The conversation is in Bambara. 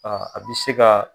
a bɛ se ka